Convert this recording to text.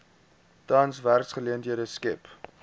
tans werksgeleenthede skep